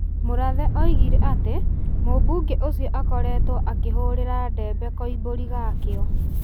Murathe oigire atĩ mũmbunge ũcio akorĩtũo akĩhũrĩra ndebe Koimbũri gwa kĩo.